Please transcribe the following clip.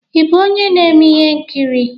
Ị bụ onye na-eme ihe nkiri?